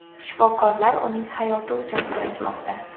Shifokorlar uning hayoti uchun kurashmoqda.